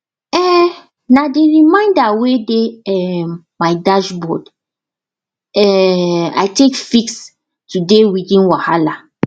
um na the reminder wey dey um my dashboard um i take fix today weeding wahala